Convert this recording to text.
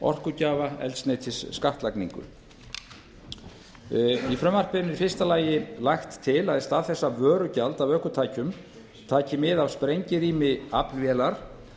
orkugjafa eldsneytisskattlagningu í frumvarpinu er í fyrsta lagi lagt til að í stað þess að vörugjald af ökutækjum taki mið af sprengirými aflvélar